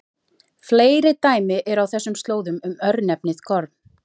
Fleiri dæmi eru á þessum slóðum um örnefnið Gorm.